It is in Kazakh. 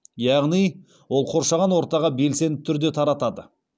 яғни ол қоршаған ортаға белсенді түрде таратады